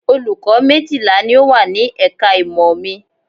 Olùkọ́ méjìlá ni ó wà ní ẹ̀ka ìmọ̀ mi